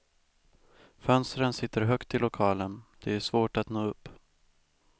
Fönstren sitter högt i lokalen, det är svårt att nå upp.